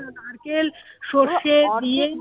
নারকেল